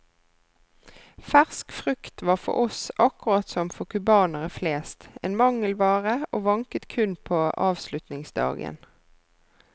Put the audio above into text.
Fersk frukt var for oss, akkurat som for cubanere flest, en mangelvare og vanket kun på avslutningsdagen.